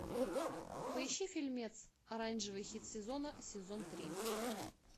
поищи фильмец оранжевый хит сезона сезон три